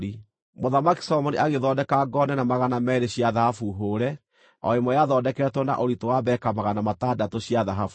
Mũthamaki Solomoni agĩthondeka ngo nene magana meerĩ cia thahabu hũũre; o ĩmwe yathondeketwo na ũritũ wa beka magana matandatũ cia thahabu.